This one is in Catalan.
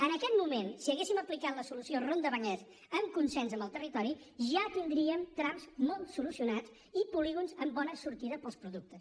en aquest moment si haguéssim aplicat la solució ronda vallès en consens amb el territori ja tindríem trams molt solucionats i polígons amb bona sortida per als productes